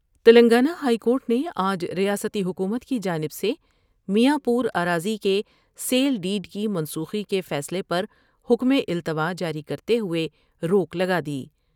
Telangana high court نے آج ریاستی حکومت کی جانب سے میاں پورا راضی کے بیل ڈیڈ کی منسوٹی کے فیصلے پر حکم التواء جاری کرتے ہوئے روک لگادی ۔